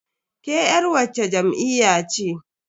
Ke yar wacce jam'iyya ce?